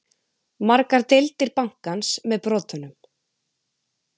Margar deildir bankans með brotunum